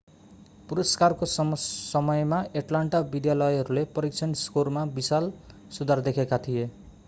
पुरस्कारको समयमा एट्लान्टा विद्यालयहरूले परीक्षण स्कोरमा विशाल सुधार देखेका थिए